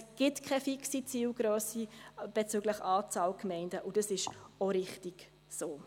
Es gibt keine fixe Zielgrösse bezüglich Anzahl Gemeinden, und das ist auch richtig so.